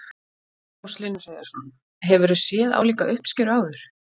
Magnús Hlynur Hreiðarsson: Hefurðu séð álíka uppskeru áður?